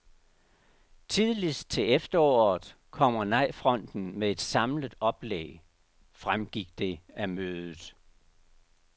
Tidligst til efteråret kommer nejfronten med et samlet oplæg, fremgik det af mødet.